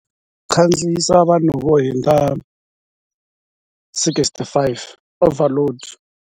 Ku khandziyisa vanhu vo hundza sixty five i overload.